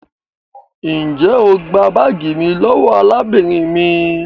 njẹ o gbà baagi mí lówó arábìnrin mí?